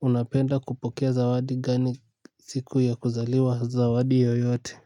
Unapenda kupokea zawadi gani siku ya kuzaliwa? Zawadi yoyote.